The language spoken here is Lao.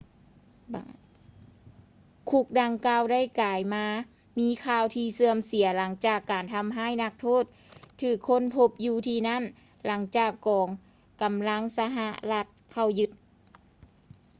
ຄຸກດັ່ງກ່າວ ໄດ້ກາຍມາມີຂ່າວທີ່ເສື່ອມເສຍ ຫຼັງຈາກການທຳຮ້າຍນັກໂທດຖືກຄົ້ນພົບຢູ່ທີ່ນັ້ນ ຫຼັງຈາກກອງກຳລັງສະຫະລັດເຂົ້າຍຶດ